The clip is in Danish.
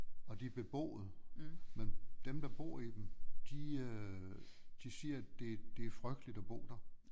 Og de er beboede men dem der bor i dem de øh de siger at det det er frygteligt at bo der